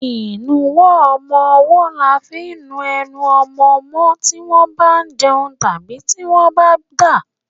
Ìnuwọ́ ọmọwọ́ là fi ń nu enu ọmọmọ́ tí wọ́n bá jẹun tán àbí tí wọ́n bá ń dà.